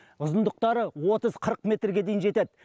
ұзындықтары отыз қырық метрге дейін жетеді